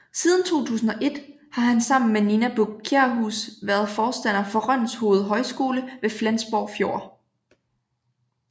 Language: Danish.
Siden 2001 har han sammen med Nina Buch Kjærhus været forstander for Rønshoved Højskole ved Flensborg Fjord